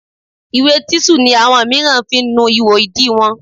Ìwé tíṣù ni àwọn míràn ń fi ń nu ihò ìdí wọn.